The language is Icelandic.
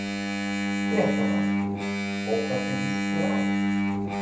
Fréttamaður: Og hvernig líst þér á?